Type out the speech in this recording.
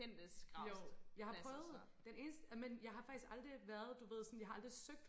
jo jeg har prøvet den eneste men jeg har faktisk aldrig været du ved sådan jeg har aldrig søgt